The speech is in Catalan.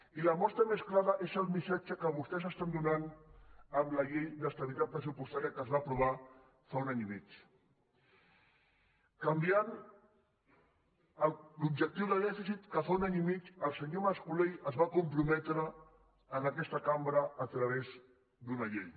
i la mostra més clara és el missatge que vostès donen amb la llei d’estabilitat pressupostària que es va aprovar fa un any i mig canviant l’objectiu de dèficit que fa un any i mig el senyor mas colell es va comprometre en aquesta cambra a través d’una llei